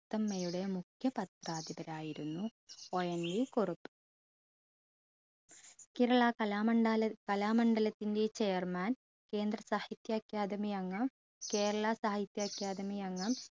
മുത്തമ്മയുടെ മുഖ്യ പത്രാധിപരായിരുന്നു ONV കുറുപ്പ് കേരള കലാമണ്ടാല കലാമണ്ഡലത്തിൻറെ chairman കേന്ദ്ര സാഹിത്യ academy അംഗം കേരള സാഹിത്യ academy അംഗം